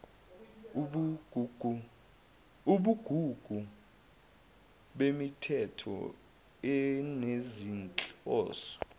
ubugugu bemithetho enezinhloso